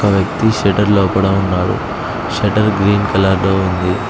ఒక వ్యక్తి సెంటర్లో లోపల ఉన్నాడు షట్టర్ గ్రీన్ కలర్ లో ఉంది.